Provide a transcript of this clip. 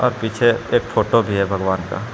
और पीछे एक फोटो भी है भगवान का।